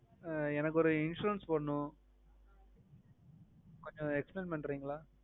அஹ் எனக்கு ஒரு insurance போடணும கொஞ்சம் explain பண்றிங்களா